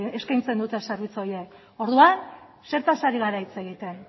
eskaintzen dute zerbitzu horiek orduan zertaz ari gara hitz egiten